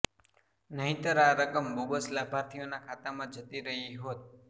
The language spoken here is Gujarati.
નહીંતર આ રકમ બોગસ લાભાર્થીઓના ખાતામાં જતી રહી હોત